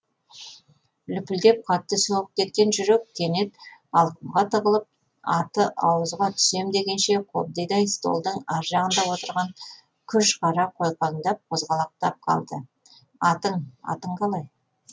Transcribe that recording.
лүпілдеп қатты соғып кеткен жүрек кенет алқымға тығылып аты ауызға түсем дегенше қобдидай столдың аржағында отырған күж қара қойқаңдап қозғалақтап қалды атың атың қалай